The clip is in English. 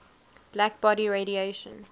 black body radiation